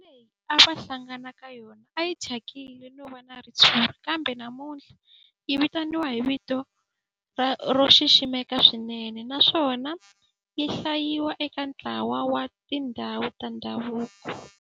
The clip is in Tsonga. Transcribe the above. Ndhawu leyi a va hlangana ka yona a yi thyakile no va na ritshuri kambe namuntlha yi vitaniwa hi vito ro xiximeka swinene naswona yi hlayiwa eka ntlawa wa tindhawu ta ndhavuko.